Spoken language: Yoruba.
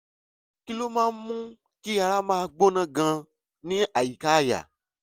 kí ló máa ń mú kí ara máa gbọ̀n gan-an ní àyíká àyà?